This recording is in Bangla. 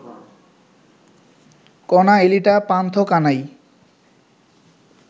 কনা, এলিটা, পান্থ কানাই